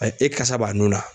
Ɛ e kasa b'a nun na